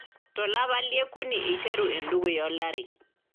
Tolapa lie okuni eiteru endukuya olari.